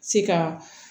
Se ka